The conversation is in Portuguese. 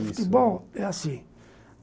O futebol é assim.